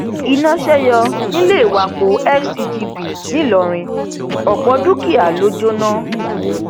iná ṣe yọ níléèwọpàpọ fcgb ńlọrọrìn ọpọ dúkìá ló jóná